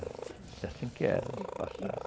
É assim que era no passado.